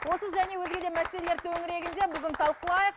осы және өзге де мәселелер төңірегінде бүгін талқылайық